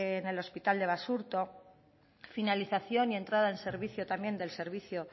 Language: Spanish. en el hospital de basurto finalización y entrada en servicio también del servicio